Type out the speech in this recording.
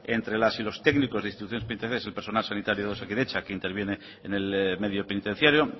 entre las y los técnicos de instituciones penitenciarias y el personal sanitario de osakidetza que interviene en el medio penitenciario